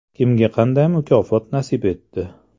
Kimga qanday mukofot nasib etdi?